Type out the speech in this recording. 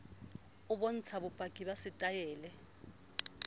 o bontsha bopaki ba setaele